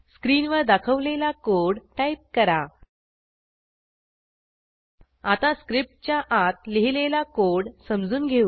स्क्रीनवर दाखवलेला code type करा आता स्क्रिप्टच्या आत लिहिलेला कोड समजून घेऊ